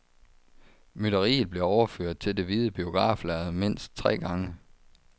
Mytteriet blev overført til det hvide biograflærrede mindst tre gange.